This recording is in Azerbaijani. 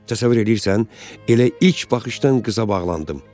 Təsəvvür eləyirsən, elə ilk baxışdan qıza bağlandım.